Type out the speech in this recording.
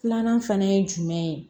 Filanan fana ye jumɛn ye